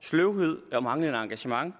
sløvhed med og manglende engagement